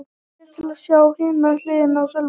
Smellið hér til að sjá hina hliðina á Sölva